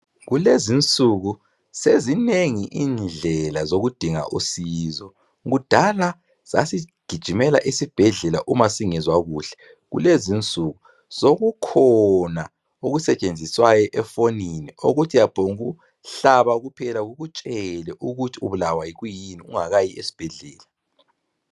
Kulezi nsuku sezinengi indlela zokudinga usizo , kudala sasigijimela esibhedlela uma singezwa kuhle. Kulezinsuku sekukhona okusetshenziswayo efoniñi okokuthi iyaphongu hlaba kuphela kukutshele ukuthi ubulwa yikwiyini ungakayi esibhedlela.